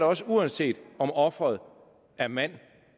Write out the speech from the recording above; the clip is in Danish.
også uanset om offeret er mand